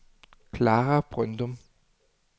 Klara Brøndum